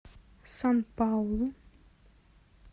сан паулу